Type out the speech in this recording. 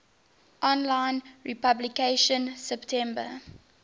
online publication september